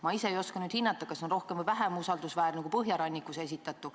Ma ise ei oska hinnata, kas see on rohkem või vähem usaldusväärne kui Põhjarannikus esitatu.